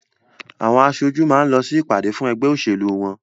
Àwọn aṣojú máa ń lọ sí ìpàdé fún ẹgbẹ́ òṣèlú wọ́n